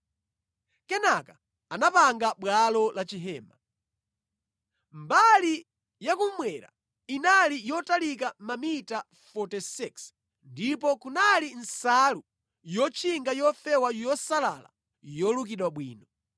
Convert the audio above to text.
Kenaka anapanga bwalo la chihema. Mbali yakummwera inali yotalika mamita 46 ndipo kunali nsalu yotchinga yofewa yosalala yolukidwa bwino.